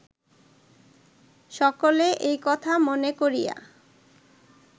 সকলে এই কথা মনে করিয়া